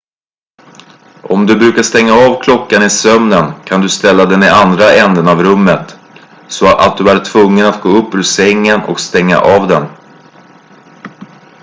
om du brukar stänga av klockan i sömnen kan du ställa den i andra änden av rummet så att du är tvungen att gå upp ur sängen och stänga av den